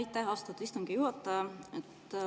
Aitäh, austatud istungi juhataja!